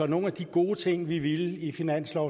nogle af de gode ting vi ville i finanslov